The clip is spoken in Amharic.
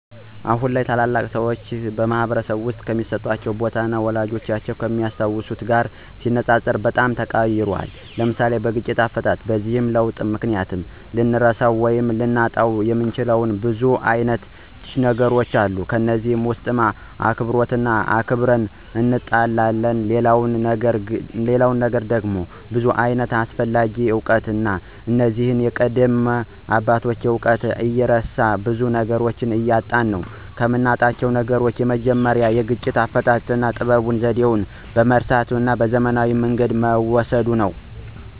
አሁን ላይ ታላላቅ ሰዎች በማኅበረሰብ ውስጥ የሚሰጣቸው ቦታ፣ ወላጆቻችን ከሚያስታውሱት ጋር ሲነጻጸር በጣም ተቀይሯል። (ለምሳሌ፦ በግጭት አፈታት) በዚህ ለውጥ ምክንያት ልንረሳው ወይም ልናጣው የምንችለው ብዙ አይነት ነገሮች አሉ ከነዚህም ውስጥ አክብሮትንና ክብርን እናጣለን ሌላው ነገር ደግሞ ብዙ ዓይነት አስፈላጊ እውቀት አለ እነዚህም የቀደሙ አባቶችን እውቀት እየረሳን ብዙ ነገሮችን እናጣለን። ከምናጣው ነገሮች የመጀመሪያው የግጭት አፈታት ጥበቡንና ዘዴውን በመርሳት ወደ ዘመናዊ መንገድ በመውሰድ ነው።